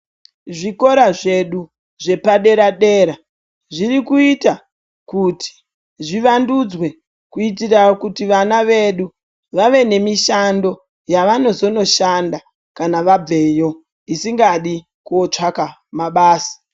Zvikora zvedu zvepadera dera zviri kuita kuti zvivandudzwe kuitira kuti vana vedu vave nemishando yavanozonoshanda kana vabveyo, isingadi kootsvaka mabasa.